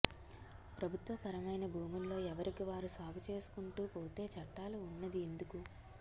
ప్రభుత్వ పరమైన భూముల్లో ఎవరికి వారు సాగు చేసుకుంటూ పోతే చట్టాలు ఉంన్నది ఎందుకు